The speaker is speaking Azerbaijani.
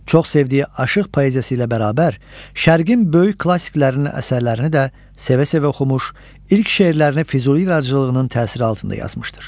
Çox sevdiyi aşıq poeziyası ilə bərabər, Şərqin böyük klassiklərinin əsərlərini də sevə-sevə oxumuş, ilk şeirlərini Füzuli yaradıcılığının təsiri altında yazmışdır.